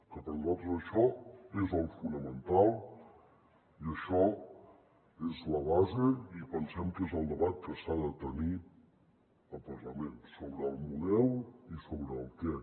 que per nosaltres això és el fonamental i això és la base i pensem que és el debat que s’ha de tenir al parlament sobre el model i sobre el què